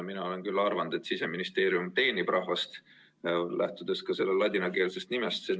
Mina olen arvanud, et Siseministeerium teenib rahvast, lähtudes ka selle ladinakeelsest nimetusest.